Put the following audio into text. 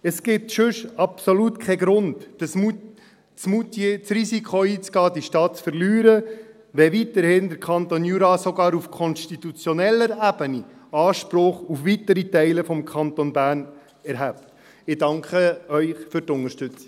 Es gibt sonst absolut keinen Grund, bei Moutier das Risiko einzugehen, diese Stadt zu verlieren, wenn weiterhin der Kanton Jura sogar auf konstitutioneller Ebene Anspruch auf weitere Teile des Kantons erhebt.